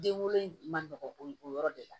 Den wolon man nɔgɔ o yɔrɔ de la